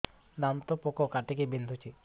ଦାନ୍ତ ପୋକ କାଟିକି ବିନ୍ଧୁଛି